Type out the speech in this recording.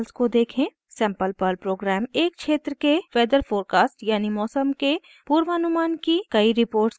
sample Perl program एक क्षेत्र के वेदर फोरकास्ट यानि मौसम के पूर्वानुमान की कई रिपोर्ट्स का आउटपुट देगी